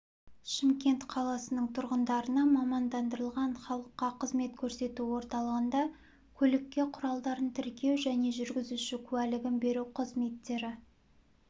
шымкент қаласының тұрғындарына мамандандырылған халыққа қызмет көрсету орталығында көлік құралдарын тіркеу және жүргізуші куәлігін беру қызметтері